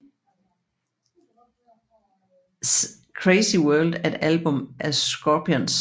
Crazy World er et album af Scorpions